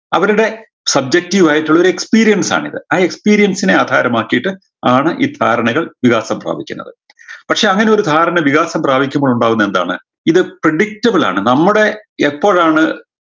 അവരുടെ subjective ആയിട്ടുള്ളൊരു experience ആണിത് ആ experience നെ ആധാരമാക്കിയിട്ട് ആണ് ഈ ധാരണകൾ വികാസം പ്രാപിക്കുന്നത് പക്ഷേ അങ്ങനൊരു ധാരണ വികാസം പ്രാപിക്കുമ്പോഴുണ്ടാകുന്ന എന്താണ് ഇത് predictable ആണ് നമ്മടെ എപ്പോഴാണ്